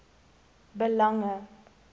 belange